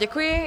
Děkuji.